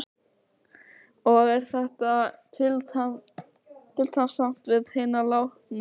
Og er þetta tillitssamt við hina látnu?